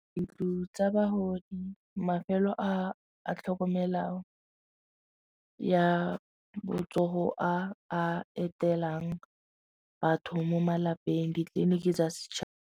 Ntlo tsa bagodi mafelo a a tlhokomelang ya botsogo a a etelang batho mo malapeng ditleliniki tsa setšhaba.